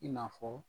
I n'a fɔ